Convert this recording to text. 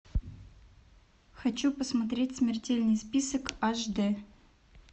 хочу посмотреть смертельный список аш д